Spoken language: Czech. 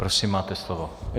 Prosím, máte slovo.